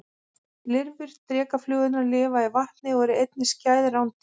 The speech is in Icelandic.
Lirfur drekaflugurnar lifa í vatni og eru einnig skæð rándýr.